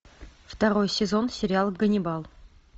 второй сезон сериал ганнибал